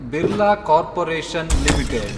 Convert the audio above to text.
Birla corporation limited